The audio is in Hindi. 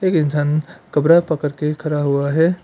कपरा पकड़ के खड़ा हुआ है।